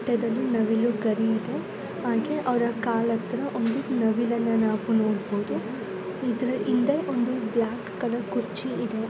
ಇದರ ಅವರ ಕಿರೀಟದಲ್ಲಿ ನವಿಲು ಗರಿ ಇದೆ ಹಾಗೆ ಅವರ ಕಾಲು ಹತ್ತಿರ ಒಂದು ನವಿಲನ್ನ ನಾವು ನೋಡಬಹುದು. ಇದರ ಹಿಂದೆ ಒಂದು ಬ್ಲಾಕ್ ಕಲರ್ ಚೇರ್ ಇದೆ.